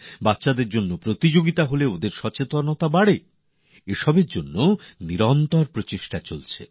বাচ্চাদের জন্য প্রতিযগিতা হোক তাতে সচেতনতা বাড়ে এর জন্য লাগাতার প্রচেষ্টা জারি আছে